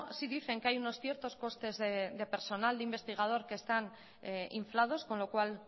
sí dicen que hay unos ciertos costes de personal de investigador que están inflados con lo cual